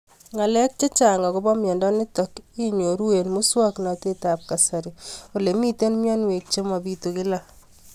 Ng'alek chechang' akopo miondo nitok inyoru eng' muswog'natet ab kasari ole mito mianwek che mapitu kila